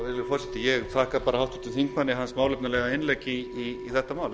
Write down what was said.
forseti ég þakka bara háttvirtum þingmanni hans málefnalega í þetta mál